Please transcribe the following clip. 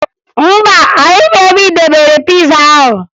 Mba, ahụghị m ebe ị debere piza ahụ